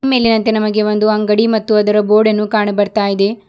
ಮೇಲಿನಂತೆ ನಮಗೆ ಒಂದು ಅಂಗಡಿ ಮತ್ತು ಅದರ ಗೋಡೆಯನ್ನು ಕಾಣ ಬರ್ತಾ ಇದೆ.